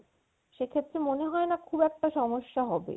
সেক্ষেত্রে মনে হয় না খুব একটা সমস্যা হবে